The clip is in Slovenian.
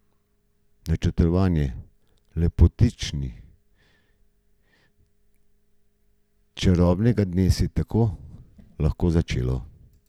Načrtovanje lepotičkinega čarobnega dne se je tako lahko začelo.